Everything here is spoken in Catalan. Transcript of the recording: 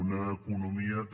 una economia també